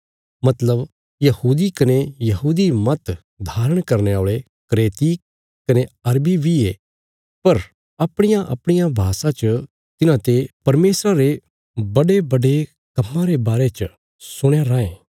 मतलब यहूदी कने यहूदी मत धारण करने औल़े क्रेती कने अरबी बी ये पर अपणियाअपणिया भाषा च तिन्हांते परमेशरा रे बडेबडे कम्मां रे बारे च सुणया रायें